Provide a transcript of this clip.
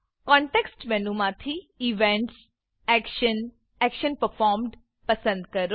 context મેનુમાંથી events action action Performed પસંદ કરો